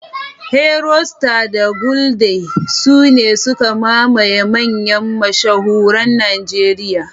Heroe, Star, da Gulder sune suka mamaye manyan mashahuran Najeriya.